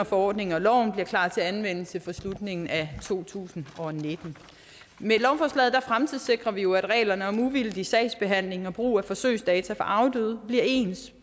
forordningen og loven bliver klar til anvendelse fra slutningen af to tusind og nitten med lovforslaget fremtidssikrer vi jo at reglerne om uvildig sagsbehandling og brug af forsøgsdata fra afdøde bliver ens